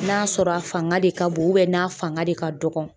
n'a sɔrɔ a fanga de ka bon n'a fanga de ka dɔgɔn